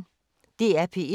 DR P1